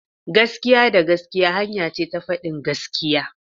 Gaskiya da gaskiya hanya ce ta fadin gaskiya.